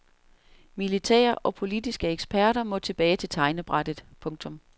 Militære og politiske eksperter må tilbage til tegnebrættet. punktum